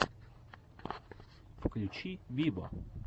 включи виво